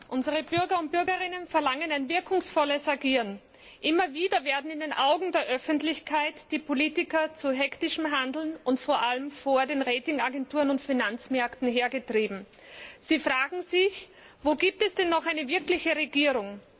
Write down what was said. Unsere Bürger und Bürgerinnen verlangen ein wirkungsvolles Agieren. Immer wieder werden in den Augen der Öffentlichkeit die Politiker zu hektischem Handeln gedrängt und vor allem von den Ratingagenturen und Finanzmärkten vor sich her getrieben. Sie fragen sich Wo gibt es denn noch eine wirkliche Regierung?